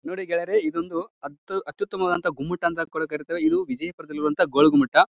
ನೋಡಿ ಗೆಳೆಯರೇ ಇದೊಂದು ಅತ್ಯುತ್ತಮವದಂತಹ ಗುಮ್ಮಟ ಅಂತ ಕೂಡ ಕರೀತೇವೆ ಇದು ವಿಜಯಪುರದಲ್ಲಿರೋ ಗೋಳ ಗುಮ್ಮಟ.